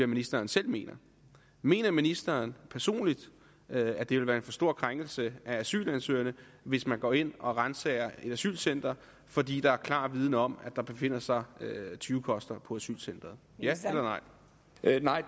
ministeren selv mener mener ministeren personligt at det vil være en for stor krænkelse af asylansøgerne hvis man går ind og ransager et asylcenter fordi der er klar viden om at der befinder sig tyvekoster på asylcenteret ja eller